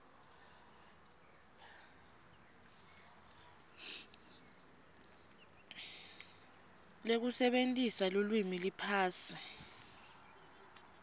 lekusebentisa lulwimi liphasi